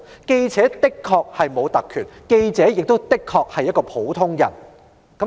記者的確沒有特權，記者亦確實是普通人。